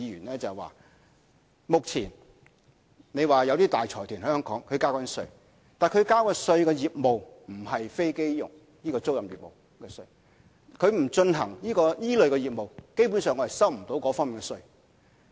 他們指目前有大財團在香港繳交稅款，但繳交稅款的業務不是飛機租賃業務，他們不進行這類型的業務，基本上我們收不到這方面的稅款。